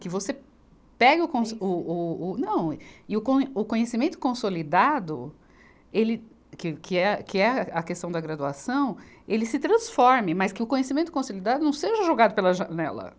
Que você pegue o com, o, o, o, não e o con, o conhecimento consolidado, ele que, que é, que é a questão da graduação, ele se transforme, mas que o conhecimento consolidado não seja jogado pela janela.